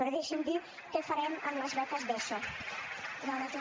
però deixi’m dir què farem amb les beques d’eso